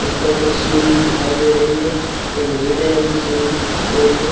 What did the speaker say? उस पर कुछ सीनरी दिखाई दे रही है एक नील रंग की सीनरी दिखाई दे रही है।